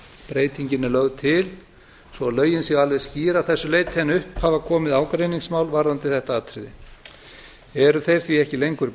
breytingin er lögð til svo að lögin séu alveg skýr að þessu leyti en upp hafa komið ágreiningsmál varðandi þetta atriði eru þeir því ekki lengur